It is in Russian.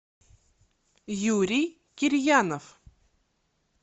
юрий кирьянов